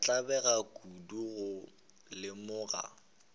ka tlabega kudu go lemoga